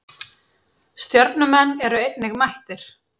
Stjörnumenn eru einnig mættir.